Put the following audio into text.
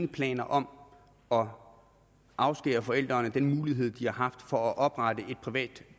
planer om om at afskære forældrene fra den mulighed de har haft for at oprette et privat